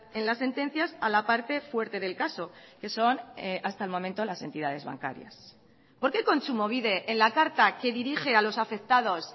en las sentencias a la parte fuerte del caso que son hasta el momento las entidades bancarias por qué kontsumobide en la carta que dirige a los afectados